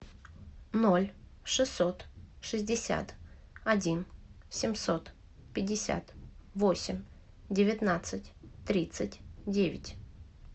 ноль шестьсот шестьдесят один семьсот пятьдесят восемь девятнадцать тридцать девять